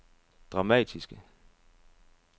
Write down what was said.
dramatiske